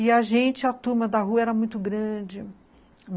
E a gente, a turma da rua, era muito grande.